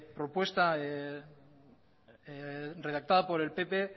propuesta redactada por el pp